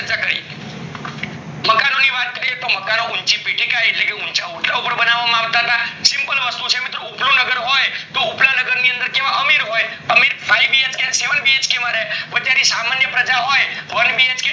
કરીએ તો મકાન ઉંચી પીઠીકા એટલે ઊંચા ઓટલા ઉપર બનાવામાં આવતા હતા simple વસ્તુ છે ઉપલું નગર હોય તો ઉપલા નગર માં કેવા અમીર હોઈ અમીર ફાઈવ BHK સેવન BHK માં રે અને સામાન્ય પ્રજા હોઈ